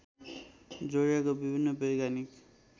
जोड़िएका विभिन्न वैज्ञानिक